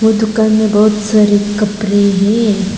ओ दुकान में बहुत सारे कपड़े हैं।